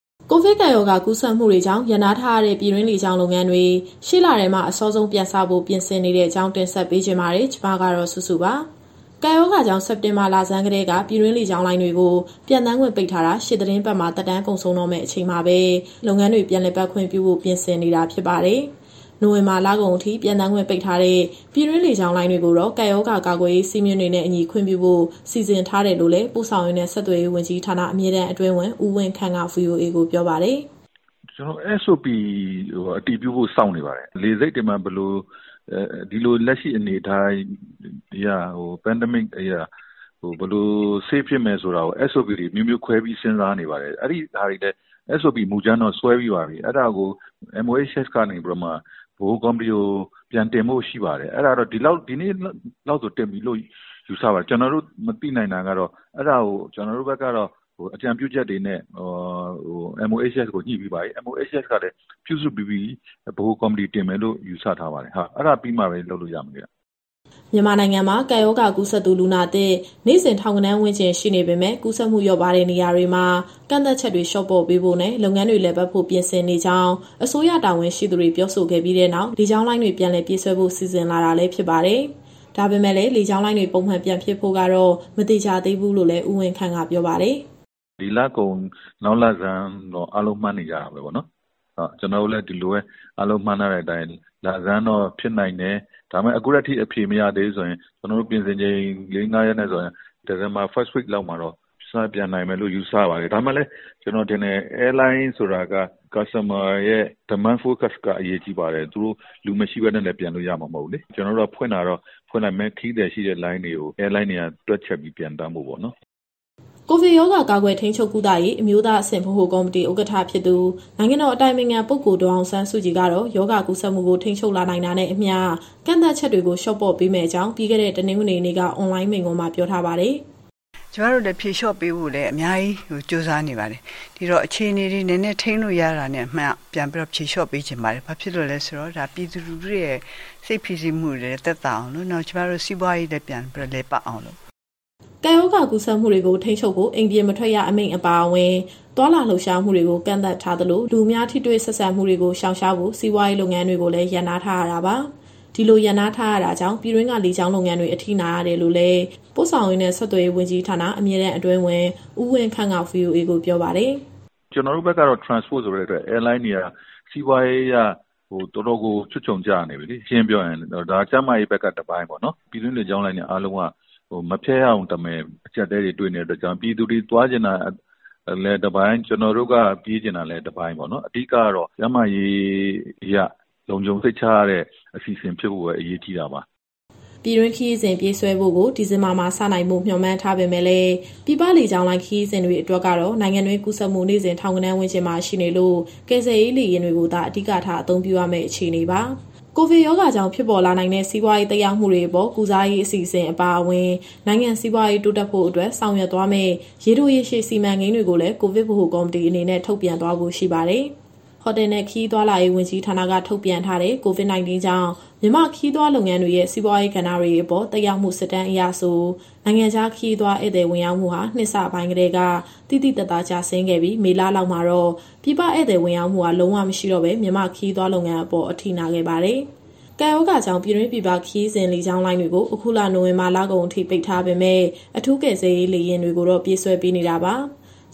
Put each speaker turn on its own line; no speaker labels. ကိုဗစ်ကပ်ရောဂါ ကူးစက်မှုတွေကြောင့် ရပ်နားထားရတဲ့ ပြည်တွင်းလေကြောင်း လုပ်ငန်းတွေ အစောဆုံး ရှေ့လထဲမှာ ပြန်စဖို့ ပြင်ဆင်နေတဲ့အကြောင်း တင်ဆက်ပေးချင်ပါတယ်။ ဗွီအိုအေမြန်မာပိုင်းသတင်းထောက် မစုစုက သတင်းပေးပို့ထားပါတယ်။ ကပ်ရောဂါကြောင့် စက်တင်ဘာလဆန်းကတည်းက ပြည်တွင်းလေကြောင်းလိုင်းတွေကို ပျံသန်းခွင့်ပိတ်ထားတာ ရှေ့သီတင်းပတ်မှာ သက်တမ်းကုန်ဆုံးတော့မယ့် အချိန်မှာပဲ လုပ်ငန်းတွေ ပြန်လည်ပတ်ခွင့်ပြုဖို့ ပြင်ဆင်နေတာ ဖြစ်ပါတယ်။ နိုဝင်ဘာလကုန်အထိ ပျံသန်းခွင့်ပိတ်ထားတဲ့ ပြည်တွင်းလေကြောင်းလိုင်းတွေကိုတော့ ကပ်ရောဂါကာကွယ်ရေး စည်းမျဉ်းစည်းကမ်းတွေနဲ့အညီ ခွင့်ပြုဖို့ စီစဉ်ထားတယ်လို့လည်း ပို့ဆောင်ရေးနဲ့ဆက်သွယ်ရေးဝန်ကြီးဌာန၊ အမြဲတမ်းအတွင်းဝန် ဦးဝင်းခန့်က VOA ကိုပြောပါတယ်။
"ကျနော်တို့ SOP (Standard Operating Procedure) အတည်ပြုဖို့ စောင့်နေပါတယ်။ ဒီကပ်ရောဂါကာလမှာ လေဆိပ်တွေမှာ ဘယ်လို.. ဒီလို လက်ရှိအနေအထားအရ လုံခြုံအောင်လို့ SOP တွေ အမျိုးမျိုးခွဲပြီးစဉ်းစားနေပါတယ်။ SOP မူကြမ်းတော့ဆွဲပြီးပါပြီ၊ အဲဒါကို MOHS ကနေပြီးတော့ ဗဟိုကော်မတီကို ပြန်တင်ဖို့ရှိပါတယ်။ အဲဒါက ဒီနေ့လောက် တင်ပြီလို့ယူဆပါတယ်။ ကျနော်တို့မသိနိုင်တာက အဲဒါကို ကျနော်တို့ဘက်ကနေတော့ အကြံပြုချက်တွေနဲ့ MOHS ကိုညှိပြီးပါပြီ။ MOHS ကလည်း ပြုစုပြီးပြီ၊ ဗဟိုကော်မတီတင်မယ်လို့ ယူဆထားပါတယ်။ အဲဒါပြီးမှပဲ လုပ်လို့ရမယ်ဗျ။"
မြန်မာနိုင်ငံမှာ ကပ်ရောဂါကူးစက်သူ လူနာသစ် နေ့စဉ် ထောင်ဂဏန်းဝန်းကျင် ရှိနေပေမဲ့ ကူးစက်မှု လျော့ပါးတဲ့ နေရာတွေမှာ ကန့်သတ်ချက်တွေ လျှော့ပေါ့ပေးဖို့နဲ့ လုပ်ငန်းတွေ လည်ပတ်ဖို့ ပြင်ဆင်နေကြောင်း အစိုးရတာဝန်ရှိသူတွေ ပြောဆိုခဲ့ပြီးနောက် လေကြောင်းလိုင်းတွေ ပြန်လည်ပြေးဆွဲဖို့ စီစဉ်လာတာလည်း ဖြစ်ပါတယ်။ ဒါပေမဲ့လည်း လေကြောင်းလုပ်ငန်းတွေ ပုံမှန်ပြန်ဖြစ်ဖို့ကတော့ မသေချာသေးဘူးလို့လည်း ဦးဝင်းခန့်ကပြောပါတယ်။
"ဒီလကုန်၊ နောက်လဆန်းလောက်တော့ အားလုံးမှန်းနေကြတာပဲပေါ့နော်။ ကျနော်တို့လည်း ဒီလိုပဲ အားလုံးမှန်းထားတဲ့အတိုင်း လဆန်းတော့ဖြစ်နိုင်တယ်။ ဒါပေမဲ့ အခုထက်ထိ အဖြေမရသေးဘူးဆိုရင် ကျနော်တို့ပြင်ဆင်ချိန် ၄ - ၅ ရက်နဲ့ဆိုရင် ဒီဇင်ဘာပထမပတ်လောက်မှာတော့ စပျံနိုင်မယ်လို့ယူဆပါတယ်။ ဒါပေမဲ့လည်း ကျနော်ထင်တယ်၊ လေကြောင်းလိုင်းဆိုတာက Customer ရဲ့ Demand Focus က အရေးကြီးပါတယ်။ လူမရှိဘဲနဲ့လည်း ပျံလို့ရမှာမဟုတ်ဘူးလေ။ ကျနော်တို့က ဖွင့်တာတော့ ဖွင့်လိုက်မယ်၊ ခရီးသည်ရှိတဲ့ လေကြောင်းလိုင်းတွေက တွက်ချက်ပြီးပျံသန်းဖို့ပေါ့နော်။"
ကိုဗစ်ရောဂါ ကာကွယ်၊ ထိန်းချုပ်၊ ကုသရေး အမျိုးသားအဆင့် ဗဟိုကော်မတီ ဥက္ကဋ္ဌ နိုင်ငံတော်အတိုင်ပင်ခံပုဂ္ဂိုလ် အောင်ဆန်းစုကြည်ကတော့ ရောဂါကူးစက်မှုကို ထိန်းချုပ်လာနိုင်တာနဲ့အမျှ ကန့်သတ်ချက်တွေ လျှော့ပေါ့ပေးမယ့်အကြောင်း ပြီးခဲ့တဲ့တနင်္ဂနွေနေ့က အွန်လိုင်းမိန့်ခွန်းမှာ ပြောထားပါတယ်။ "ကျမတို့လည်း ဖြေလျှော့ပေးဖို့လည်း အများကြီးကြိုးစားနေပါတယ်။ ဒီတော့ အခြေအနေတွေ နည်းနည်းထိန်းလို့ရတာနဲ့ ပြန်ပြီးတော့ဖြေလျှော့ပေးချင်ပါတယ်။ ဘာဖြစ်လို့လဲဆိုတော့ ဒါပြည်သူလူထုရဲ့ စိတ်ဖိစီးမှုတွေလည်း သက်သာအောင်လို့၊ နောက်ကျမတို့ စီးပွားရေးလည်း ပြန်ပြီးတော့လည်ပတ်အောင်လို့ပါ။" ကပ်ရောဂါကူးစက်မှုတွေကို ထိန်းချုပ်ဖို့ အိမ်ပြင်မထွက်ရ အမိန့်အပါအဝင် သွားလာလှုပ်ရှားမှုတွေကို ကန့်သတ်ထားသလို၊ လူအများ ထိတွေ့ဆက်ဆံမှုတွေကို ရှောင်ရှားဖို့ စီးပွားရေးလုပ်ငန်းတွေကိုလည်း ရပ်နားထားရတာပါ။ ဒီလိုရပ်နားထားရတာကြောင့် ပြည်တွင်းက လေကြောင်းလုပ်ငန်းတွေ အထိနာနေရတယ်လို့လည်း ပို့ဆောင်ရေးနဲ့ ဆက်သွယ်ရေးဝန်ကြီးဌာန၊ အမြဲတမ်းအတွင်းဝန် ဦးဝင်းခန့်က ပြောပါတယ်။
"ကျနော်တို့ဘက်ကတော့ Transport ဆိုတဲ့အတွက် Airlines တွေက စီးပွားရေးအရ တော်တော်ကိုချွတ်ချုံကျနေပြီလေ ရှင်းရှင်းပြောရရင်။ ဒါကျန်းမာရေးဘက်က တပိုင်းပေါ့နော်။ ပြည်တွင်းလေကြောင်းလိုင်းတွေအားလုံးက မဖျက်ရရုံတမယ် အကြပ်အတည်းတွေတွေ့နေတဲ့အတွက်ကြောင့် ပြည်သူတွေသွားချင်တာလည်း တပိုင်း၊ ကျနော်တို့က ပြေးချင်တာလည်း တပိုင်းပေါ့နော်။ အဓိကတော့ ကျန်းမာရေးအရ လုံခြုံစိတ်ချရတဲ့အစီအစဉ်ဖြစ်ဖို့ပဲ အရေးကြီးတာပါ
။" ပြည်တွင်းခရီးစဉ်ပြေးဆွဲဖို့ကို ဒီဇင်ဘာမှာစနိုင်ဖို့ မျှော်မှန်းထားပေမဲ့လည်း ပြည်ပလေကြောင်းလိုင်းခရီးစဉ်တွေအတွက်ကတော့ နိုင်ငံတွင်းကူးစက်မှု နေ့စဉ်ထောင်ဂဏန်းဝန်းကျင်မှာရှိနေလို့ ကယ်ဆယ်ရေးလေယာဉ်တွေကိုသာ အဓိကထား အသုံးပြုရမယ့်အခြေအနေပါ။ ကိုဗစ်ရောဂါကြောင့် ဖြစ်ပေါ်လာနိုင်တဲ့ စီးပွားရေး သက်ရောက်မှုတွေအပေါ် ကုစားရေးအစီအစဉ်အပါအဝင်၊ နိုင်ငံစီးပွားရေး တိုးတက်ဖို့အတွက် ဆောင်ရွက်သွားမယ့် ရေတို၊ ရေရှည်စီမံကိန်းတွေကိုလည်း ကိုဗစ်ဗဟိုကော်မတီအနေနဲ့ ထုတ်ပြန်သွားဖို့ရှိပါတယ်။ ဟိုတယ်နဲ့ ခရီးသွားလာရေးဝန်ကြီးဌာနက ထုတ်ပြန်ထားတဲ့ COVID- 19 ကြောင့် မြန်မာ့ခရီးသွားလုပ်ငန်းရဲ့ စီးပွားရေးကဏ္ဍတွေအပေါ် သက်ရောက်မှု စစ်တမ်းအရဆို နိုင်ငံခြားခရီးသွားဧည့်သည် ဝင်ရောက်မှုဟာ နှစ်အစပိုင်းကတည်းက သိသိသာသာကျဆင်းခဲ့ပြီး မေလလောက်မှာတော့ ပြည်ပဧည့်သည်ဝင်ရောက်မှုဟာ လုံးဝမရှိတော့ဘဲ မြန်မာ့ခရီးသွားလုပ်ငန်းအပေါ် အထိနာခဲ့ပါတယ်။ ကပ်ရောဂါကြောင့် ပြည်တွင်းပြည်ပခရီးစဉ် လေကြောင်းလိုင်းတွေကို အခုလ နိုဝင်ဘာလကုန်အထိ ပိတ်ထားပေမဲ့ အထူးကယ်ဆယ်ရေးလေယာဉ်တွေကိုတော့ ပြေးဆွဲပေးနေတာပါ။